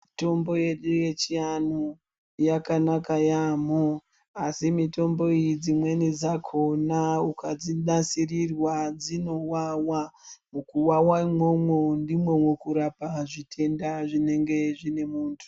Mitombo yedu yechiantu yakanaka yaamho asi mitombo iyi dzimweni dzakhona ukadzinasirirwa dzinowawa mukuwawa imwomwo ndimwo mukurapa zvitenda zvinenge zvine muntu.